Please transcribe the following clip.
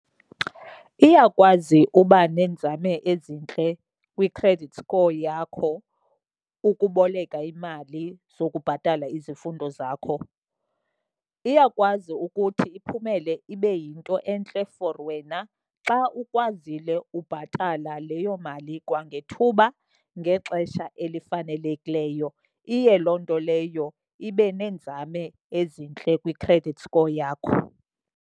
Iyakwazi uba neenzame ezintle kwi-credit score yakho ukuboleka iimali zokubhatala izifundo zakho. Iyakwazi ukuthi iphumele ibe yinto entle for wena xa ukwazile ubhatala leyo mali kwangethuba, ngexesha elifanelekileyo. Iye loo nto leyo ibe neenzame ezintle kwi-credit score yakho.